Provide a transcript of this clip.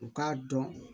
U k'a dɔn